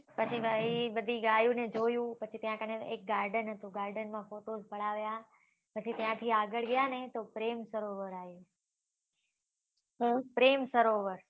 પછી ત્યાં બધી ગાયો ને જોયું ત્યાં કને એક garden હતું garden માં photos પડાવ્યા પછી ત્યાં થી આગળ ગયા ને તો પ્રેમ સરોવર આવ્યું પ્રેમ સરોવર